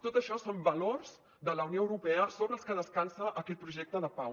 tot això són valors de la unió europea sobre els que descansa aquest projecte de pau